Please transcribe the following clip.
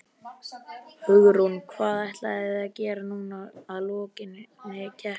Hugrún: Hvað ætlið þið að gera núna að lokinni keppni?